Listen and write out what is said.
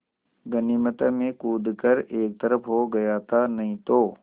गनीमत है मैं कूद कर एक तरफ़ को हो गया था नहीं तो